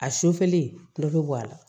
A sufɛli dɔ bɛ bɔ a la